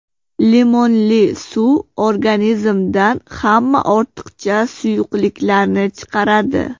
Limonli suv organizmdan hamma ortiqcha suyuqliklarni chiqaradi.